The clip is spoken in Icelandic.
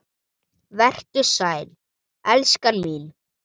Vertu sæl, elskan mín.